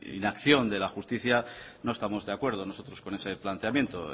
inacción de la justicia no estamos de acuerdo nosotros con ese planteamiento